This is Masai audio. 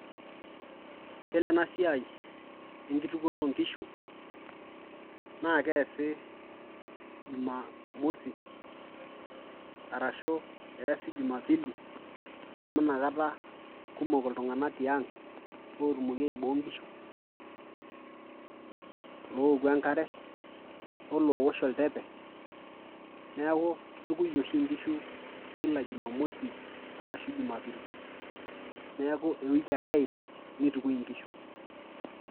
yiolo ena siai enkitukuoto onkishu naa keesi jumamosi arashu eesi jumapili amu inakata kumok iltung'anak tiang otumoki aiboo nkishulooku enkare olowosh oltepe neeku kitukui oshi inkishu kila jumamosi arashu jumapili neeku ewiki ake eid nitukui inkishu.